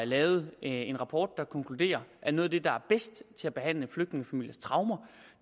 lavet en rapport der konkluderer at noget af det der er bedst til at behandle flygtningefamiliers traumer